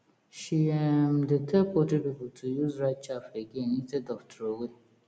she um dey tell poultry people to use rice chaff again instead of throway